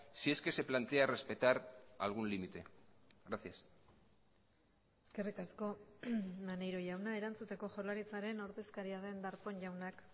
si es que se plantea respetar algún límite gracias eskerrik asko maneiro jauna erantzuteko jaurlaritzaren ordezkaria den darpón jaunak